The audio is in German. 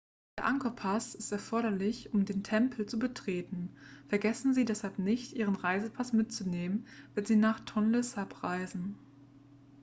der angkor-pass ist erforderlich um den tempel zu betreten vergessen sie deshalb nicht ihren reisepass mitzunehmen wenn sie nach tonle sap reisen